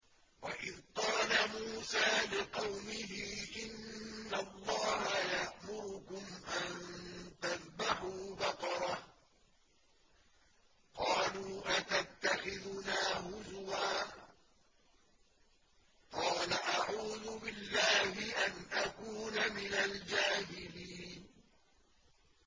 وَإِذْ قَالَ مُوسَىٰ لِقَوْمِهِ إِنَّ اللَّهَ يَأْمُرُكُمْ أَن تَذْبَحُوا بَقَرَةً ۖ قَالُوا أَتَتَّخِذُنَا هُزُوًا ۖ قَالَ أَعُوذُ بِاللَّهِ أَنْ أَكُونَ مِنَ الْجَاهِلِينَ